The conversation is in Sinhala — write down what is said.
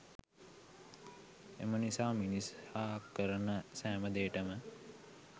එමනිසා මිනිසා කරන සෑම දේටම